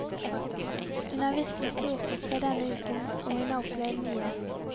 Hun har virkelig storkost seg denne uken og hun har opplevd mye.